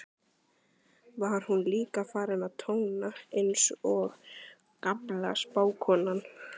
var hún líka farin að tóna, einsog gamla spákonan.